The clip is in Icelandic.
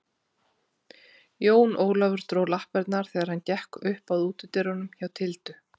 Jón Ólafur dró lappirnar þegar hann gekk upp að útidyrunum hjá Tildu.